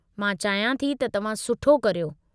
मां चाहियां थी त तव्हां सुठो करियो।